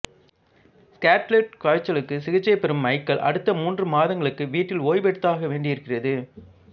scarlet காய்ச்சலுக்கு சிகிச்சை பெறும் மைக்கேல் அடுத்த மூன்று மாதங்களுக்கு வீட்டில் ஓய்வெடுத்தாக வேண்டியிருக்கிறது